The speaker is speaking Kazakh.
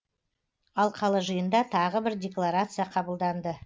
алқалы жиында тағы бір декларация қабылданды